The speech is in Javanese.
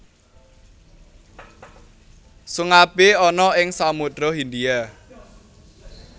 Sungabé ana ing Samodra Hindia